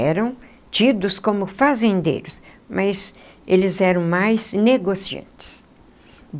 Eram tidos como fazendeiros, mas eles eram mais negociantes.